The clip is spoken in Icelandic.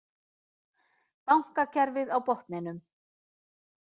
Bankakerfið á botninum